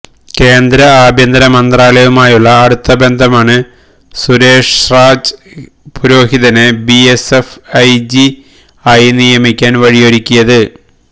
കേന്ദ്ര ആഭ്യന്തര മന്ത്രാലയവുമായുള്ള അടുത്ത ബന്ധമാണ് സുരേഷ്രാജ് പുരോഹിതനെ B S F I G ആയി നിയമിക്കാൻ വഴിയൊരുക്കിയത്